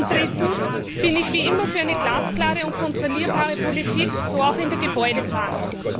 Drittens bin ich wie immer für eine glasklare und kontrollierbare Politik, so auch in der Gebäudeplanung.